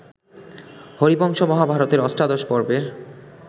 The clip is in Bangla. হরিবংশ মহাভারতের অষ্টাদশ পর্বের